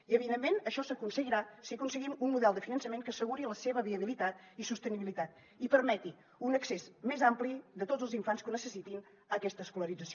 i evidentment això s’aconseguirà si aconseguim un model de finançament que asseguri la seva viabilitat i sostenibilitat i permeti un accés més ampli de tots els infants que necessitin aquesta escolarització